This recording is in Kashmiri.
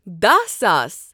دہ ساس